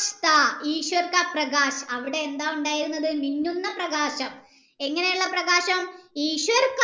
അവിടെ എന്താ ഉണ്ടായിരുന്നത് മിന്നുന്ന പ്രകാശം ഇങ്ങനെയുള്ള പ്രകാശം